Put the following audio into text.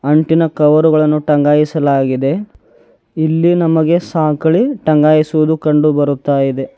ಅಂಟಿನ ಕವರುಗಳನ್ನು ಟಂಗಾಯಿಸಲಾಗಿದೆ ಇಲ್ಲಿ ನಮಗೆ ಸಾಂಕಳಿ ಟಂಗಾಯಿಸುವುದು ಕಂಡು ಬರುತ್ತಾ ಇದೆ.